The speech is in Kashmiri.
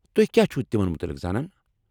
تُہۍ کیٛاہ چھِو تِمن متلق زانان؟